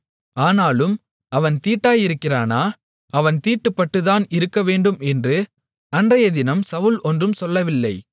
ஆனாலும் அவன் தீட்டாயிருக்கிறானா அவன் தீட்டுப்பட்டுத்தான் இருக்கவேண்டும் என்று அன்றையதினம் சவுல் ஒன்றும் சொல்லவில்லை